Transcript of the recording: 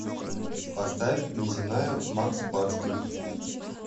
поставь неземная макс барских